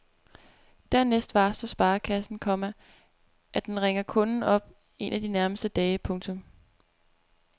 Dernæst varsler sparekassen, komma at den ringer kunden op en af de nærmeste dage. punktum